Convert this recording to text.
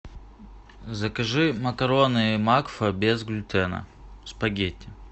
закажи макароны макфа без глютена спагетти